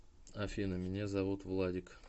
афина меня зовут владик